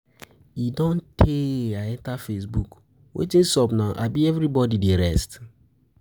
E don tey I enter Facebook, wetin sup now abi everybody dey rest?